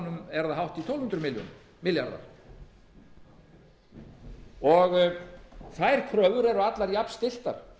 það hátt í tólf hundruð milljarðar þær kröfur eru allar jafnstilltar þó að